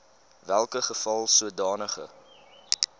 welke geval sodanige